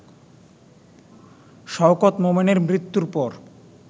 শওকত মোমেনের মৃত্যুর পর